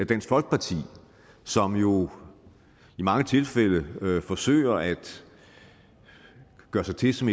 dansk folkeparti som jo i mange tilfælde forsøger at gøre sig til som